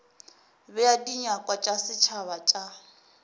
bea dinyakwa tša setšhaba tša